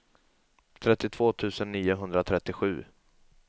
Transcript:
trettiotvå tusen niohundratrettiosju